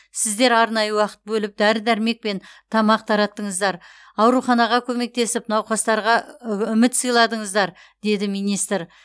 сіздер арнайы уақыт бөліп дәрі дәрмек пен тамақ тараттыңыздар ауруханаға көмектесіп науқастарға үміт сыйладыңыздар деді министр